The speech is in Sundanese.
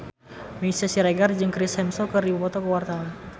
Meisya Siregar jeung Chris Hemsworth keur dipoto ku wartawan